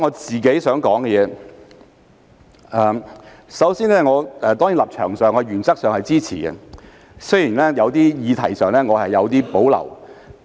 主席，我的立場是我原則上支持《條例草案》，雖然我對有些議題有所保留。